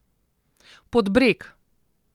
Pod breg.